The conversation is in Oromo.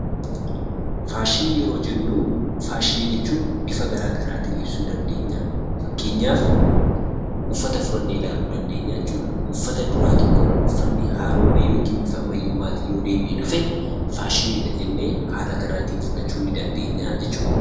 Faashinii yeroo jennuu faashinii jechuun bifa garaa garaatiin ibsuu dandeenya. Fakkeenyaf uffata fudhannee ilaaluu dandeenya jechuudha. Uffata duraa tokkorra uffanni haaromee yookin bifa ammayyummaatiin yoo deebi'ee dhufe faashiniidha jennee haala kanaatiin fudhachuu nii dandeenyaa jechuudha.